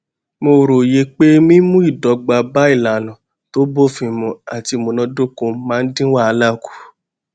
mo róye pé mímú ìdọgba bá ìlànà tó bófin mu àti ìmúnádóko máa ń dín wàhálà kù